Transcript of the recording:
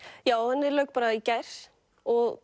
já henni lauk í gær og